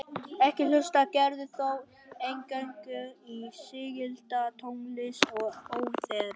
Ekki hlustar Gerður þó eingöngu á sígilda tónlist og óperur.